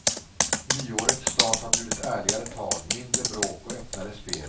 Nyårets start har bjudit ärligare tag, mindre bråk och öppnare spel.